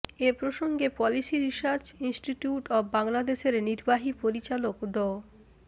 এ প্রসঙ্গে policy research institute of বাংলাদেশের নির্বাহী পরিচালক ড